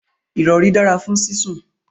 irori dara fun sisun